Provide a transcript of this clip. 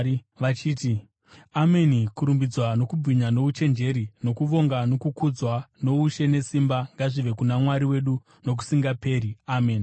vachiti: “Ameni! Kurumbidzwa nokubwinya nouchenjeri nokuvonga nokukudzwa noushe nesimba ngazvive kuna Mwari wedu nokusingaperi-peri. Ameni!”